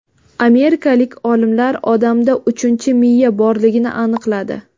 Amerikalik olimlar odamda uchinchi miya borligini aniqladi.